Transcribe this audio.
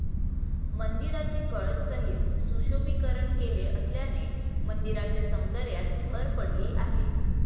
मंदिराचे कळसासहित सुशोभीकरण केले असल्याने मंदिराच्या सौंदर्यात भर पडली आहे.